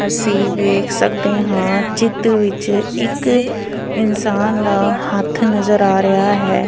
ਅਸੀ ਵੇਖ ਸਕਦੇ ਹਾਂ ਚਿੱਤ ਵਿੱਚ ਇੱਕ ਇਨਸਾਨ ਦਾ ਹੱਥ ਨਜ਼ਰ ਆ ਰਿਹਾ ਹੈ।